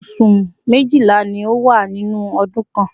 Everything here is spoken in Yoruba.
oṣù méjìlá ni ó wà nínú ọdún kan